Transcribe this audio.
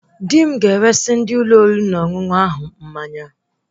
Dị m ga-eresị ndị Ụlọ oriri na ọṅụṅụ ahụ mmanya